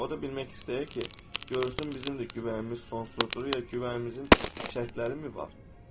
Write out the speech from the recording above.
O da bilmək istəyir ki, görsün bizim də güvənimiz sonsuzdur, yoxsa güvənimizin şərtləri mi var?